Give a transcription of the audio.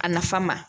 A nafa ma